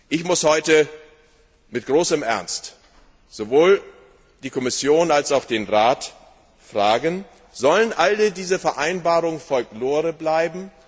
Ich muss heute mit großem Ernst sowohl die Kommission als auch den Rat fragen Sollen alle diese Vereinbarungen Folklore bleiben?